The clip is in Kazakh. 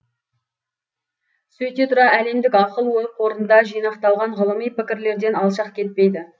сөйте тұра әлемдік ақыл ой қорында жинақталған ғылыми пікірлерден алшақ кетпейді